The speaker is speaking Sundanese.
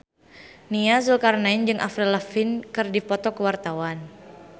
Nia Zulkarnaen jeung Avril Lavigne keur dipoto ku wartawan